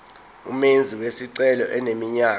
umenzi wesicelo eneminyaka